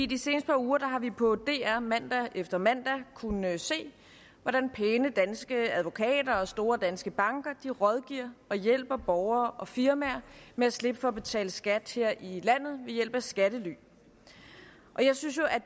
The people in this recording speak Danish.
de seneste par uger har vi på dr mandag efter mandag kunnet se hvordan pæne danske advokater og store danske banker rådgiver og hjælper borgere og firmaer med at slippe for at betale skat her i landet ved hjælp af skattely jeg synes jo at